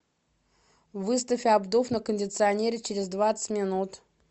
выставь обдув на кондиционере через двадцать минут